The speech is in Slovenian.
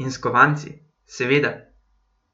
In s kovanci, seveda.